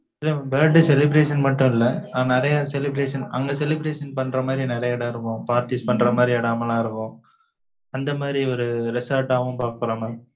இல்லை, mam birthday celebration மட்டும் இல்லை. ஆனா, நிறையா celebration அங்க celebration பண்ற மாதிரி, நிறைய இடம் இருக்கும். Parties பண்ற மாதிரி, இடம் எல்லாம் இருக்கும் அந்த மாதிரி ஒரு resort ஆவும் பாக்குறோம் mam